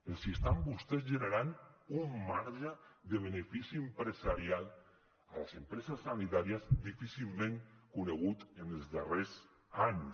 els estan vostès generant un marge de benefici empresarial a les empreses sanitàries difícilment conegut en els darrers anys